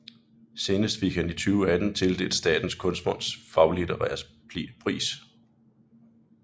Senest fik han i 2018 tildelt Statens Kunstfonds Faglitterære pris